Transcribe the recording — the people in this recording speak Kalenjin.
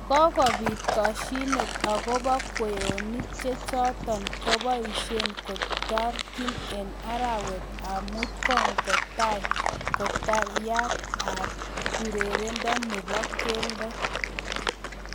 Kokopit kashinet akopo kweinik chechotok kopoishe katyarik eng arawet ap mut kokatai katyaret ap urerendo nepo keldo